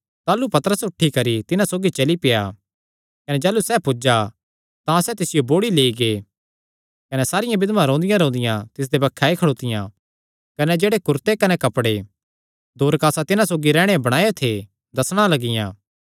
ताह़लू पतरस उठी करी तिन्हां सौगी चली पेआ कने जाह़लू सैह़ पुज्जा तां सैह़ तिसियो बोड़ी लेई गै सारियां बिधवां रोंदियांरोंदियां तिसदे बक्खे आई खड़ोतियां कने जेह्ड़े कुरते कने कपड़े दोरकासा तिन्हां सौगी रैंह्दे बणायो थे दस्सणा लगियां